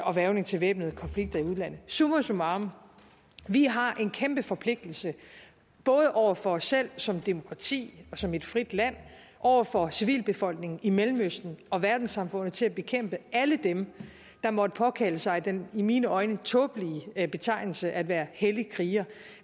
og hvervning til væbnede konflikter i udlandet summa summarum vi har en kæmpe forpligtelse både over for os selv som demokrati og som et frit land over for civilbefolkningen i mellemøsten og verdenssamfundet til at bekæmpe alle dem der måtte påkalde sig den i mine øjne tåbelige betegnelse at være hellig kriger